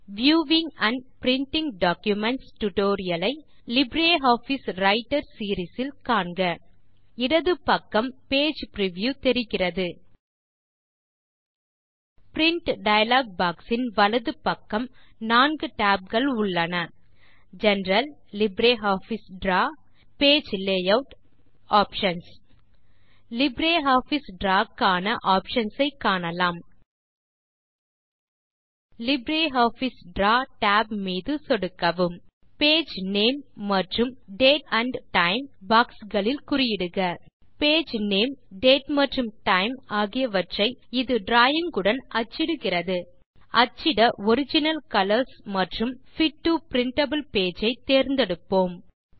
viewing and printing documents tutorial ஐ LibreOffice writer series இல் காண்க இடது பக்கம் பேஜ் பிரிவ்யூ தெரிகிறது பிரின்ட் டயலாக் பாக்ஸ் இன் வலது பக்கம் நான்கு டாப்ஸ் உள்ளன general LibreOffice draw page layout options LibreOffice draw க்கான ஆப்ஷன்ஸ் ஐ காணலாம் லிப்ரியாஃபிஸ் டிராவ் tab மீது சொடுக்கவும் பேஜ் நேம் மற்றும் டேட் ஆண்ட் டைம் பாக்ஸ் களில் குறியிடுக பேஜ் நேம் டேட் மற்றும் டைம் ஆகியவ்வற்றை இது டிராவிங் உடன் அச்சிடுகிறது அச்சிட ஒரிஜினல் கலர்ஸ் மற்றும் பிட் டோ பிரிண்டபிள் பேஜ் ஐ தேர்ந்தெடுப்போம்